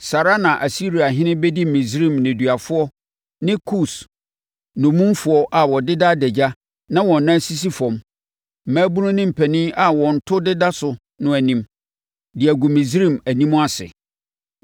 saa ara na Asiriahene bɛdi Misraim nneduafoɔ ne Kus nnommumfoɔ a wɔdeda adagya na wɔn nan sisi fam, mmabunu ne mpanin a wɔn to deda so no anim, de agu Misraim anim ase.